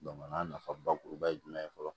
a nafa bakuruba ye jumɛn ye fɔlɔ